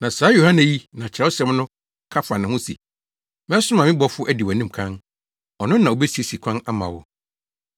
Na saa Yohane yi na Kyerɛwsɛm no ka fa ne ho se, “ ‘Mɛsoma me bɔfo adi wʼanim kan. Ɔno na obesiesie kwan ama wo.’